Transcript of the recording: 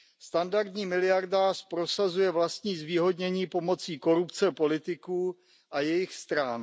Standardní miliardář prosazuje vlastní zvýhodnění pomocí korupce politiků a jejich stran.